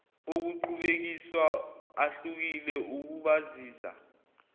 okuqhubekiswa ahlukile ukubazisa